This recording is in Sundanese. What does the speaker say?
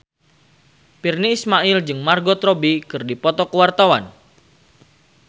Virnie Ismail jeung Margot Robbie keur dipoto ku wartawan